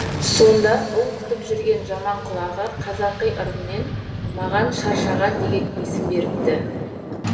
сонда ұл күтіп жүрген жаманқұл аға қазақи ырыммен маған шаршаған деген есімді беріпті